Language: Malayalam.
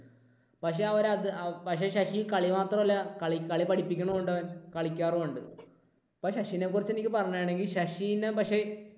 പക്ഷേ അവരത് പക്ഷെ ശശി കളി മാത്രമല്ല കളി പഠിപ്പിക്കുന്നും ഉണ്ടവൻ. കളിക്കാറുമുണ്ട്. അപ്പോൾ ശശിയെ കുറിച്ച് എനിക്ക് പറയുകയാണെങ്കിൽ ശശിനെ പക്ഷേ